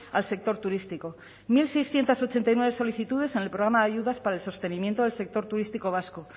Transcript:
al sector turístico mil seiscientos ochenta y nueve solicitudes en el programa de ayudas para el sostenimiento del sector turístico vasco